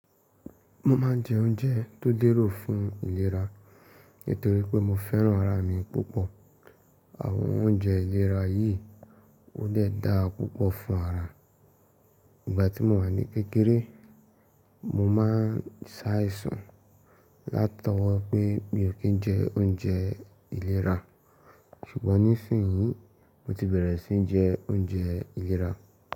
Mo ma ń jẹ́ oúnjẹ tó lérò fún ìlera nítorí pé mo fẹ́ràn ara mi púpọ̀. Àwọn oúnjẹ ìlera yìí ó de dà púpọ̀ fún ara. Ìgbà tí mo wà ní kékeré mo má ń sàìsàn látọwọ́ pé mi ò kí ń jẹ́ oúnjẹ ìlera ṣùgbọ́n nísinyí mo ti bẹ̀rẹ̀ sí í jẹ oúnjẹ ìlera.